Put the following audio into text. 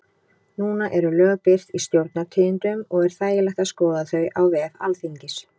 Núna eru lög birt í Stjórnartíðindum og er þægilegt að skoða þau á vef Alþingis.